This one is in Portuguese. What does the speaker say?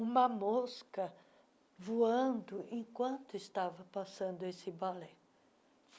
uma mosca voando enquanto estava passando esse balé.